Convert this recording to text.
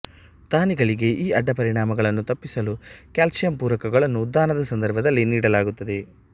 ದಾನಿಗಳಿಗೆ ಈ ಅಡ್ಡಪರಿಣಾಮಗಳನ್ನು ತಪ್ಪಿಸಲು ಕ್ಯಾಲ್ಷಿಯಂ ಪೂರಕಗಳನ್ನು ದಾನದ ಸಂದರ್ಭದಲ್ಲಿ ನೀಡಲಾಗುತ್ತದೆ